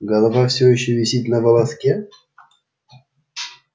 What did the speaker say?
голова все ещё висит на волоске